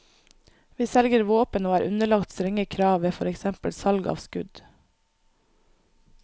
Vi selger våpen og er underlagt strenge krav ved for eksempel salg av skudd.